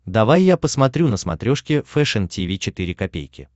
давай я посмотрю на смотрешке фэшн ти ви четыре ка